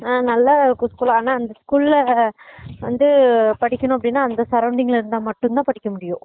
ஆஹ் நல்லா coaching ஆனா அந்த school ல வந்து படிக்கணும் அப்படினா அந்த surrounding இருந்தா மட்டும் தான் படிக்க முடியும்